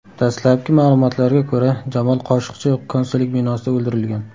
Dastlabki malumotlarga ko‘ra, Jamol Qoshiqchi konsullik binosida o‘ldirilgan.